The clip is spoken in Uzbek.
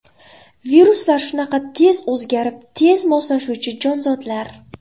Viruslar shunaqa tez o‘zgarib, tez moslashuvchi jonzotlar.